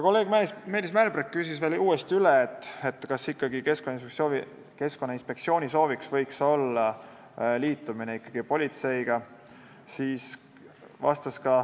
Kolleeg Meelis Mälberg küsis uuesti üle, kas Keskkonnainspektsiooni sooviks võiks olla liitumine politseiga.